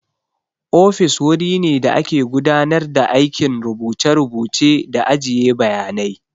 Ofis wuri ne da ake gudanar da aikin rubuce-rubuce da ajiye bayanai.